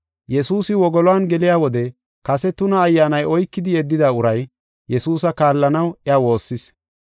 Yesuusi wogoluwan geliya wode kase tuna ayyaanay oykidi yeddida uray, Yesuusa kaallanaw iya woossis.